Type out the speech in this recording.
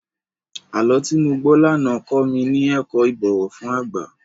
Àlọ́ tí mo gbọ́ lánàá kọ mi ní ẹ̀kọ́ ìbọ̀wọ̀ fún àgbà.